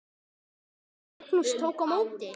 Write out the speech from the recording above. Og Magnús tók á móti?